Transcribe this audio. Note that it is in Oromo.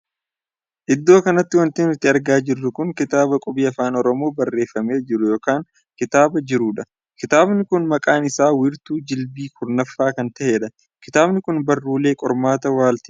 Iddoo kanatti wanti nuti argaa jirru kun kitaaba qubee Afaan Oromoo barreeffamee jiru ykn katabee jirudha. kitaabni kun maqaan isaa wiirtuu jilbii kurnaffaa kan tahedha. kitaabni kun barruulee qormaataa waaltina Afaan Oromoo kan tahedha.